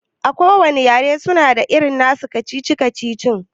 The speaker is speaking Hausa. A kowanne yare suna da nasu irin kacici-kacici